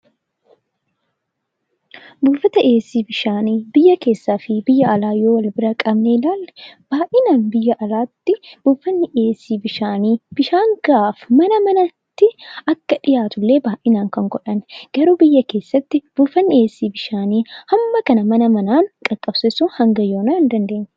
Buufata dhiheessi bishaanii biyya keessaa fi biyya alaa yoo wal bira qabnee ilaalle, baayyinaan biyya alaatti buufanni dhiheessii bishaanii bishaan gahaa fi mana manatti illee akka dhihaatu illee baayinaan kan godhaniidha.